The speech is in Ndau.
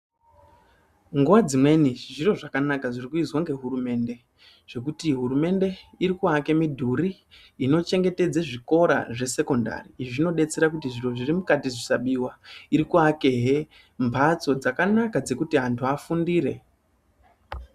Nguva dzimweni izvi zviro zvakanaka zvirikuizwa ngehurumende. Zvekuti hurumende irikuake midhuri inochengetedze zvikora zvesekondari. Izvi zvinodetsera kuti zviro zviri mukati zvisabiwa. Irikuakehe mbatso dzakanaka dzekuti antu afundire.